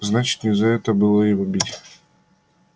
значит не за это было его бить